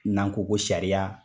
N'an ko ko sariya